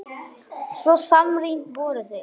Svo samrýnd voru þau.